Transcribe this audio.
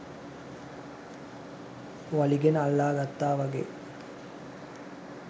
වලිගෙන අල්ලා ගත්තා වගෙයි.